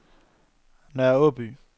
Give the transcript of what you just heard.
Nørre Aaby